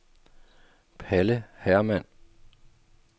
Palle Hermann